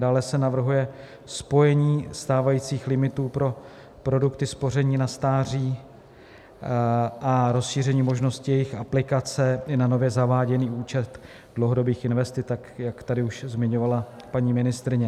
Dále se navrhuje spojení stávajících limitů pro produkty spoření na stáří a rozšíření možnosti jejich aplikace i na nově zaváděný účet dlouhodobých investic, tak jak tady už zmiňovala paní ministryně.